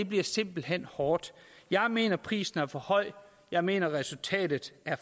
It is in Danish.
bliver simpelt hen hårdt jeg mener at prisen er for høj jeg mener at resultatet er